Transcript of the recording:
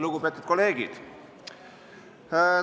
Lugupeetud kolleegid!